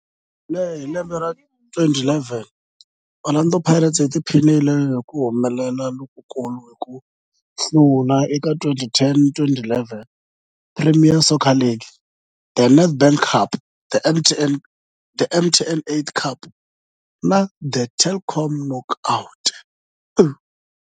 Hi lembe ra 2011, Orlando Pirates yi tiphinile hi ku humelela lokukulu hi ku hlula eka 2010-11 Premier Soccer League, The Nedbank Cup, The MTN 8 Cup na The Telkom Knockout.